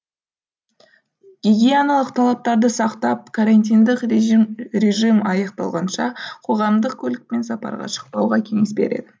гигиеналық талаптарды сақтап карантиндік режим аяқталғанша қоғамдық көлікпен сапарға шықпауға кеңес береді